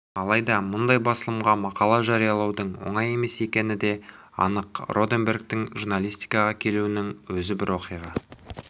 алайда мұндай басылымға мақала жариялаудың оңай емес екені де анық роденбергтің журналистикаға келуінің өзі бір оқиға